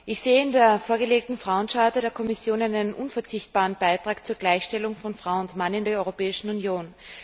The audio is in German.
Ich sehe in der vorgelegten Frauencharta der Kommission einen unverzichtbaren Beitrag zur Gleichstellung von Frau und Mann in der Europäischen Union.